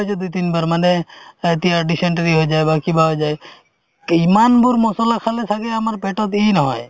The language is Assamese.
হৈছে দুই তিন বাৰ মানে এতিয়া dysentery হৈ যায় বা কিবা হৈ যায় ইমানবোৰ মছলা খালে ছাগে আমাৰ পেটত নহয়